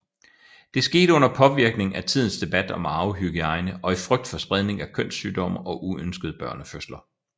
Det skete under påvirkning af tidens debat om arvehygiejne og i frygt for spredning af kønssygdomme og uønskede børnefødsler